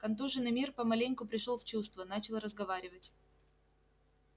контуженный мир помаленьку пришёл в чувство начал разговаривать